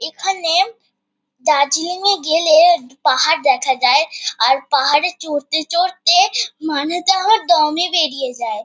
এখানে দার্জিলিং -এ গেলে পাহাড় দেখা যায় ৷ আর পাহাড়ে চড়তে চড়তে মানে তো আমার দমই বেরিয়ে যায়।